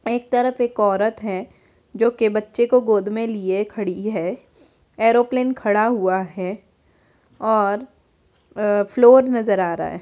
एक तरफ एक औरत है जो कि बच्चों को लिए गोद में खड़ी है एयरप्लेन खड़ा हुआ है और फ्लोर नजर आ रहा है।